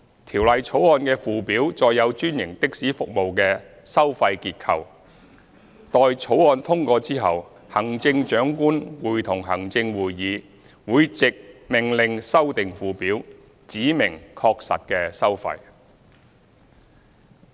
《條例草案》的附表載有專營的士服務的收費結構，待《條例草案》通過後，行政長官會同行政會議會藉命令修訂附表，指明確實的收費。